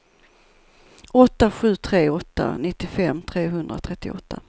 åtta sju tre åtta nittiofem trehundratrettioåtta